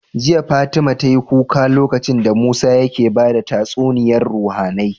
Jiya fatima tayi kuka lokacin da musa yake bada tatsuniyar ruhAnai